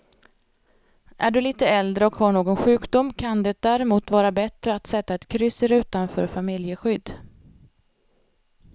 Är du lite äldre och har någon sjukdom kan det därmot vara bättre att sätta ett kryss i rutan för familjeskydd.